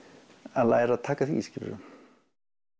að læra að taka því skilurðu